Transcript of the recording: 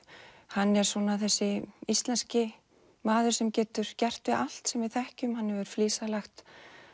hann er svona þessi íslenski maður sem getur gert við allt sem við þekkjum hann hefur flísalagt